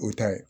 O ta ye